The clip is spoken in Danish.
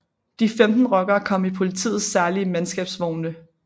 De 15 rockere kom i politiets særlige mandskabsvogne